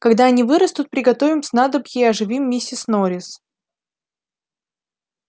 когда они вырастут приготовим снадобье и оживим миссис норрис